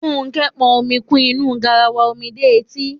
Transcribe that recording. Fúnkẹ́ pọn omi kún inú garawa omi dé etí.